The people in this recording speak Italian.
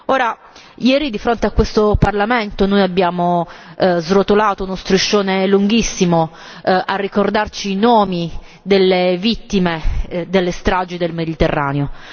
Ora, ieri di fronte a questo Parlamento noi abbiamo srotolato uno striscione lunghissimo a ricordarci i nomi delle vittime delle stragi nel Mediterraneo.